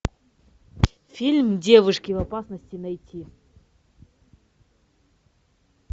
фильм девушки в опасности найти